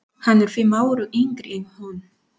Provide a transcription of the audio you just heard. Hann er fimm árum yngri en hún.